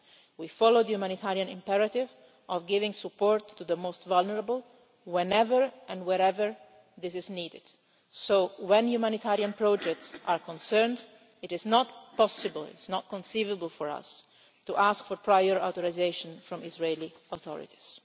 We follow the humanitarian imperative of giving support to the most vulnerable, whenever and wherever this is needed, so where humanitarian projects are concerned, it is not conceivable for us to ask for prior authorisation from the Israeli authorities.